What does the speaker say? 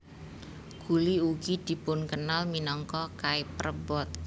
Gulli ugi dipunkenal minangka Cyperbot